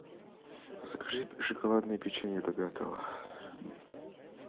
закажи шоколадное печенье любятово